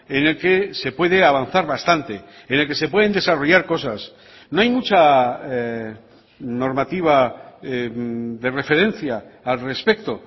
en el que se puede avanzar bastante en el que se pueden desarrollar cosas no hay mucha normativa de referencia al respecto